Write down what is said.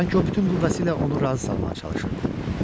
Sanki o bütün qüvvəsi ilə onu razı salmağa çalışırdı.